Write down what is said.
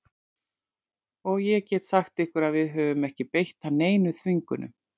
Og ég get sagt ykkur að við höfum ekki beitt hann neinum þvingunum.